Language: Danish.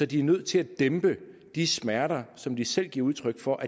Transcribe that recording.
de er nødt til at dæmpe de smerter som de selv giver udtryk for